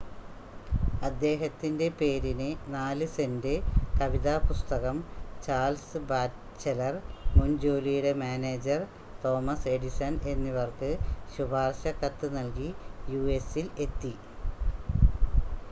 അദ്ദേഹത്തിന്റെ പേരിന് 4 സെൻറ് കവിതാ പുസ്തകം ചാൾസ് ബാറ്റ്‌ചെലർ മുൻ ജോലിയുടെ മാനേജർ തോമസ് എഡിസൺ എന്നിവർക്ക് ശുപാർശ കത്ത് നൽകി യുഎസിൽ എത്തി